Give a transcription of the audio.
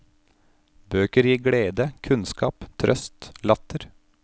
Bøker glir glede, kunnskap, trøst, latter.